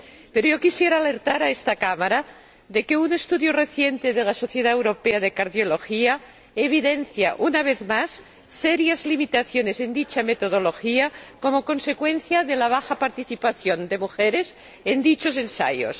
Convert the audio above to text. Pero yo quisiera alertar a esta Cámara de que un estudio reciente de la Sociedad Europea de Cardiología evidencia, una vez más, serias limitaciones en dicha metodología como consecuencia de la baja participación de mujeres en dichos ensayos.